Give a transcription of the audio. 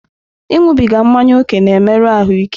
Ịṅụbiga mmanya ókè na-emerụ ahụ ike.